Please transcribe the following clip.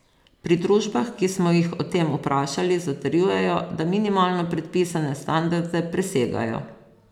Pri družbah, ki smo jih o tem vprašali, zatrjujejo, da minimalno predpisane standarde presegajo.